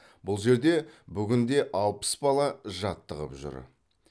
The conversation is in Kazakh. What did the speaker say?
бұл жерде бүгінде алпыс бала жаттығып жүр